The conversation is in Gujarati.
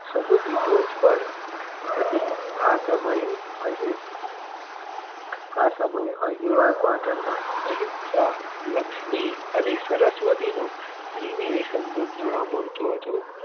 સમુદ્રી ટોચ પર હતી આ સમયે અણહીલ આ સમયે અણહીલવાડ પાટણમાં અહિંસા લક્ષ્મી અને સરસ્વતીનો ત્રિવેણી સંગમ જોવા મળતો હતો